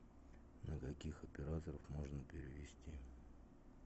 на каких операторов можно перевести